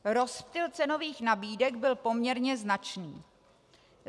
Rozptyl cenových nabídek byl poměrně značný.